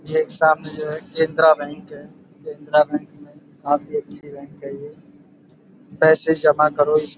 ये सामने जो है केंद्रा बैंक है। केंद्रा बैंक में काफी अच्छी बैंक है। पैसे जमा करो इस--